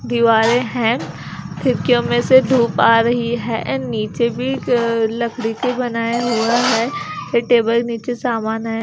दीवारे हैं खिड़कियों में से धूप आ रही है एण्ड नीचे भी लकड़ी की बनाया हुआ है य टेबल नीचे सामान है।